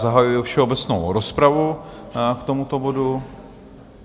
Zahajuji všeobecnou rozpravu k tomuto bodu.